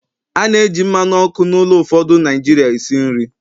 A na-eji mmanụ ọkụ n'ụlọ ụfọdụ Naijiria esi nri